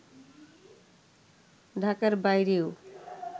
ঢাকার বাইরেও